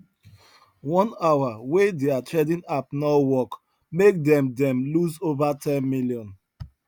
one hour wey their trading app no work make them them lose over ten million